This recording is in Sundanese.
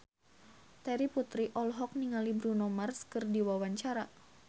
Terry Putri olohok ningali Bruno Mars keur diwawancara